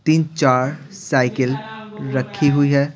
तीन चार साइकिल रखी हुई है ।